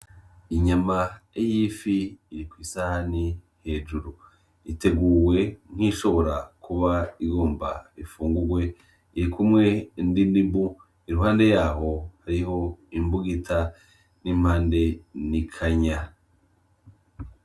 Inyama y'ifi iri kw'isahani hejuru, iteguwe nk'iyishobora kuba igomba ifungurwe, irikumwe n'indimu, iruhande yaho hariho imbugita, n'impande n'ikanya.